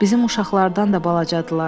Bizim uşaqlardan da balacadılar.